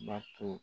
Bato